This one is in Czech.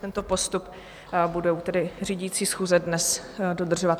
Tento postup budou tedy řídící schůze dnes dodržovat.